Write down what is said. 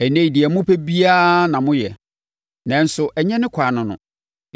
Ɛnnɛ yi, deɛ mopɛ biara na moyɛ, nanso, ɛnyɛ ne kwan ne no,